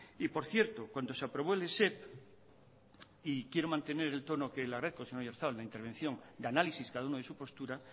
y por cierto cuando se aprobó el esep y quiero mantener el tono que le agradezco señor oyarzabal la intervención de análisis cada uno de su postura